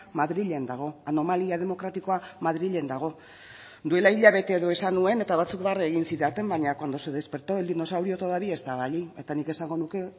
madrilen dago anomalia demokratikoa madrilen dago duela hilabete edo esan nuen eta batzuk barre egin zidaten baina cuando se despertó el dinosaurio todavía estaba allí eta nik esango nuke